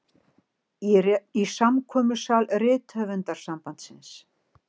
Í samkomusal Rithöfundasambandsins.